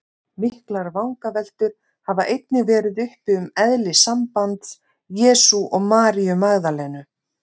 Miklar vangaveltur hafa einnig verið uppi um eðli sambands Jesú og Maríu Magdalenu.